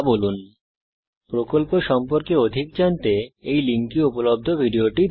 spoken tutorial প্রকল্প সম্পর্কে অধিক জানতে এই লিঙ্কে উপলব্ধ ভিডিওটি দেখুন